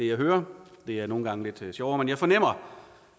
jeg hører det er nogle gange lidt sjovere at jeg fornemmer